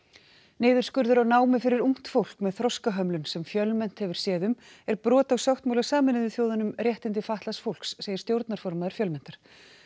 niðurskurður á námi fyrir ungt fólk með þroskahömlun sem Fjölmennt hefur séð um er brot á sáttmála Sameinuðu þjóðanna um réttindi fatlaðs fólks segir stjórnarformaður Fjölmenntar